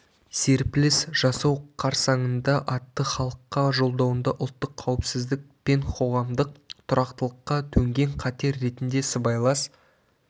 серпіліс жасау қарсаңында атты халыққа жолдауында ұлттық қауіпсіздік пен қоғамдық тұрақтылыққа төнген қатер ретінде сыбайлас